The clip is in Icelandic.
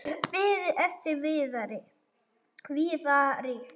Beið eftir Viðari.